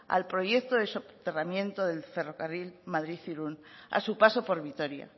al proyecto de soterramiento del ferrocarril madrid irún a su paso por vitoria